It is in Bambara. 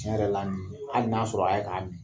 Tiɲɛ yɛrɛ la nin hali n'a sɔrɔ a ye k'a mi.